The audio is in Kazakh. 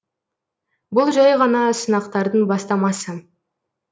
бұл жәй ғана сынақтардың бастамасы